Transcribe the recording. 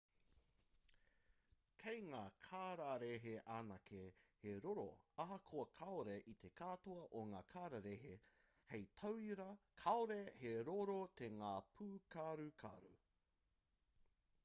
kei ngā kararehe anake he roro ahakoa kāore i te katoa o ngā kararehe; hei tauira kāore he roro tō ngā pūkarukaru